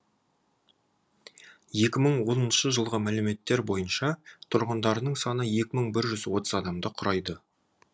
екі мың оныншы жылғы мәліметтер бойынша тұрғындарының саны екі мың бір жүз отыз адамды құрайды